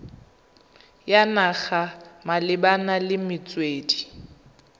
ya naga malebana le metswedi